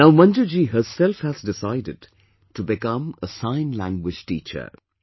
Now Manju ji herself has decided to become a Sign Language teacher